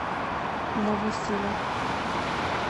новосиле